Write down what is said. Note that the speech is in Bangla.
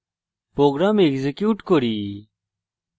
program execute করি